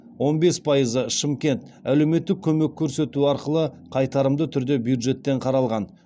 он бес пайызы шымкент әлеуметтік ккөмек көрсету арқылы қайтарымды түрде бюджеттен қаралған